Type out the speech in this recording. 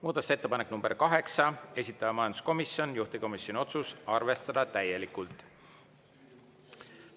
Muudatusettepanek nr 8, esitaja majanduskomisjon, juhtivkomisjoni otsus: arvestada täielikult.